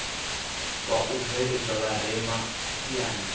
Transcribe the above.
wa u bveledza vharema siani